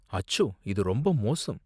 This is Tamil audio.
அச்சோ! இது ரொம்ப மோசம்.